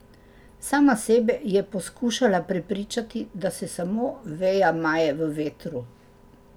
Sama sebe je poskušala prepričati, da se samo veja maje v vetru.